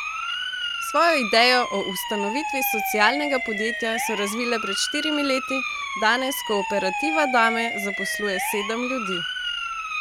Svojo idejo o ustanovitvi socialnega podjetja so razvile pred štirimi leti, danes Kooperativa Dame zaposluje sedem ljudi.